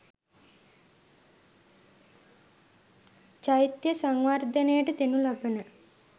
චෛත්‍යය සංවර්ධනයට දෙනු ලබන